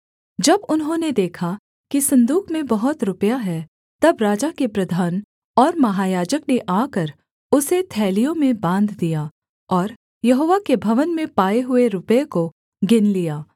जब उन्होंने देखा कि सन्दूक में बहुत रुपया है तब राजा के प्रधान और महायाजक ने आकर उसे थैलियों में बाँध दिया और यहोवा के भवन में पाए हुए रुपये को गिन लिया